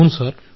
అవును సార్